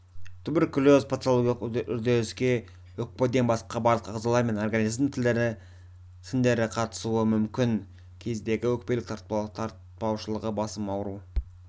туберкулез патологиялық үдеріске өкпеден басқа барлық ағзалар мен организмнің тіндері қатысуы мүмкін кездегі өкпелік таратпаушылығы басым ауру